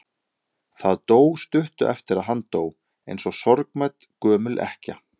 Það dó stuttu eftir að hann dó, eins og sorgmædd gömul ekkja.